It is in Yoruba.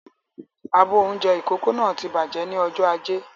Abọ́ oúnjẹ ìkókó náà ti bàjẹ́ ni ọjọ́ ajé